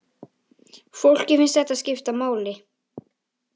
Fólki finnst þetta skipta máli